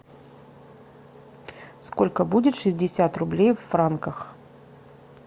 сколько будет шестьдесят рублей в франках